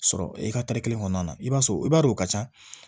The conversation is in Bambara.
Sɔrɔ i ka kelen kɔnɔna na i b'a sɔrɔ o b'a dɔn o ka ca